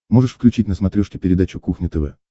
можешь включить на смотрешке передачу кухня тв